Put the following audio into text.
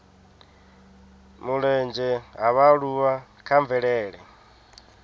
mulenzhe ha vhaaluwa kha mvelele